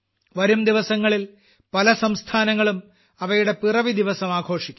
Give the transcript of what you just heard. വരുംദിവസങ്ങളിൽ പല സംസ്ഥാനങ്ങളും അവയുടെ പിറവി ദിവസവും ആഘോഷിക്കും